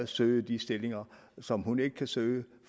søger de stillinger som hun ikke kan søge